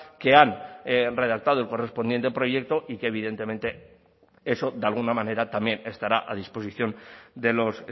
que han redactado el correspondiente proyecto y que evidentemente eso de alguna manera también estará a disposición de los